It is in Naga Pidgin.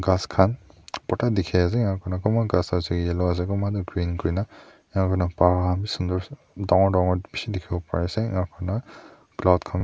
Ghas khan bhorta dekhe ase aro kona kunba ghas ase yellow ase kunba tuh green kurina aro enika hona pwaaa beshi sundur dangor dangor beshi dekhovo parey ase enika hona cloud khan--